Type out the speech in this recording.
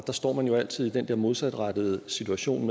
står man jo altid i den der modsatrettede situation